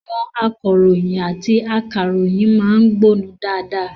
Àwọn akọ̀ròyìn àti akàròyìn má ń gbónu dáadáa